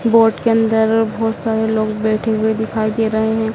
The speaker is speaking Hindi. बोट के अंदर बहोत सारे लोग बैठे हुए दिखाई दे रहे हैं।